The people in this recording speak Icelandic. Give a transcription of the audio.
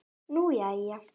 Nú, jæja?